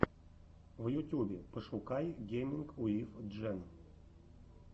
в ютюбе пошукай гейминг уив джен